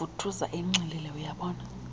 vuthuza enxilile uyabona